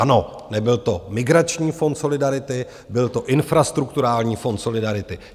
Ano, nebyl to migrační fond solidarity, byl to infrastrukturální fond solidarity.